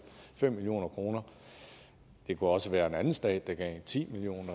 fem million kroner det kunne også være en anden stat der gav ti million